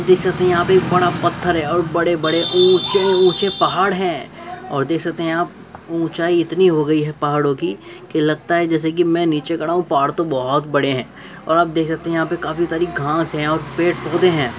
देख सकते है यहाँ पे एक बड़ा पत्थर है और बड़े बड़े ऊँचे ऊँचे पहाड़ है और देख सकते है आप ऊंचाई इतनी हो गई है पहाड़ो की की लगता है जैसे की में नीचे खड़ा हूँ पहाड़ तो बहुत बड़े है और आप देख सकते हो यहाँ पर काफी सारी घास है और पेड़ पौधे है।